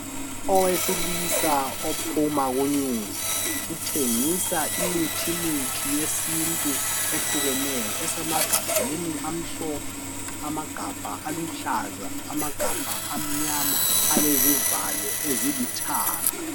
Owesilisa ophuma ku news uthengisa imithimithi yesintu ehlukeneyo esemagabheni amhlophe, amagabha aluhlaza, amagabha amnyama alezivalo ezilithanga.